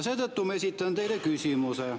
Seetõttu ma esitan teile küsimuse.